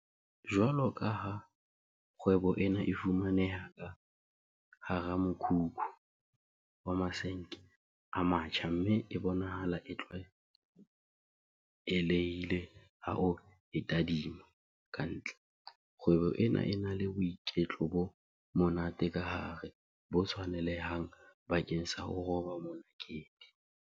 Jwalokaha kgwebo ena e fumaneha ka hara mokhukhu wa masenke a matjha mme e bonahala e tlwaelehile ha o e tadima ka ntle, kgwebo ena e na le boiketlo bo monate ka hare bo tshwanelehang bakeng sa ho roba monakedi.